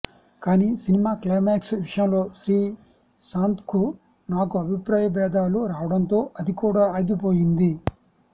కానీ cinema climax విషయంలో శ్రీశాంత్కు నాకు అభిప్రాయబేధాలు రావడంతో అది కూడా ఆగిపోయింది